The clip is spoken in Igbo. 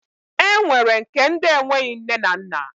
E nwere nke ndi enweghị nne na nna.